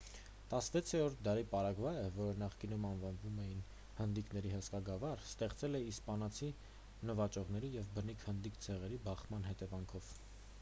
16-րդ դարի պարագվայը որը նախկինում անվանում էին հնդիկների հսկա գավառ ստեղծվել է իսպանացի նվաճողների և բնիկ հնդիկ ցեղերի բախման հետևանքով